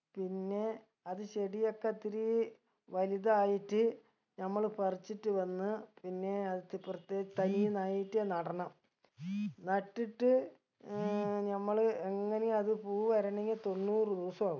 പിന്നെ അത് ചെടിയക്കത്തിരി വലുതായിട്ട് നമ്മള് പറിച്ചിട്ട് വന്ന് പിന്നേ അതെത്തിപ്പർത്ത് തൈ നായ്റ്റ് നടണം നട്ടിട്ട് ഏർ നമ്മള് എങ്ങനെയും അത് പൂ വരണെങ്കി തൊണ്ണൂറ് ദിവസ ആവും